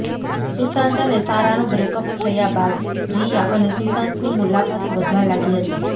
સુશાંત અને સારાનું બ્રેકઅપ થયા બાદ રિયા અને સુશાંતની મુલાકાતો વધવા લાગી હતી